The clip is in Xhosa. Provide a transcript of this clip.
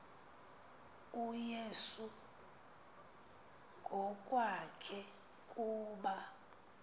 uyesu ngokwakhe kuba